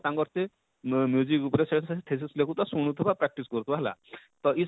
ତାଙ୍କର ସେ ଉପରେ ସେ pieces ଲେଖୁ ଥିବା ଶୁଣୁ ଥିବା practice କରୁ ଥିବା ହେଲା ତ?